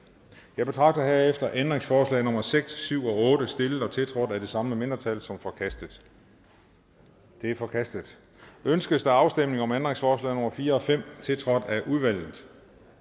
jeg betragter herefter ændringsforslag nummer seks syv og otte stillet og tiltrådt af de samme mindretal som forkastet de er forkastet ønskes afstemning om ændringsforslag nummer fire og fem tiltrådt af udvalget